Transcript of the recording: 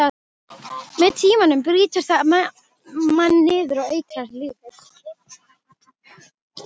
Með tímanum brýtur það mann niður og eitrar lífið.